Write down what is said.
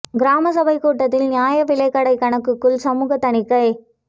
கிராம சபை கூட்டத்தில் நியாய விலைக் கடை கணக்குகள் சமூக தணிக்கை